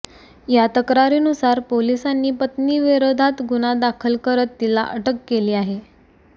या तक्रारीनुसार पोलिसांनी पत्नी विरोधात गुन्हा दाखल करत तिला अटक केली आहे